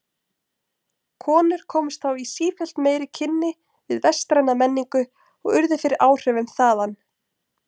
Konur komust þá í sífellt meiri kynni við vestræna menningu og urðu fyrir áhrifum þaðan.